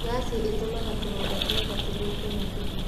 Ngaci ĩtumaga tũronda twa nda tũthũke makĩria